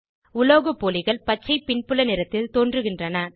உலோகப்போலிகள் பச்சை பின்புல நிறத்தில் தோன்றுகின்றன